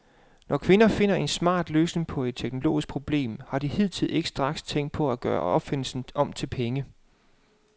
Når kvinder finder en smart løsning på et teknologisk problem, har de hidtil ikke straks tænkt på at gøre opfindelsen om til penge.